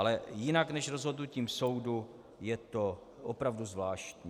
Ale jinak než rozhodnutím soudu je to opravdu zvláštní.